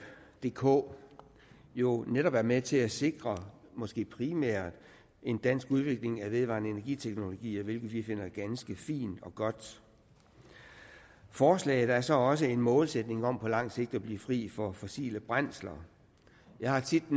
dk jo netop er med til at sikre måske primært en dansk udvikling af vedvarende energi teknologier hvilket vi finder ganske fint og godt forslaget er så også en målsætning om på lang sigt at blive fri for fossile brændsler jeg har tit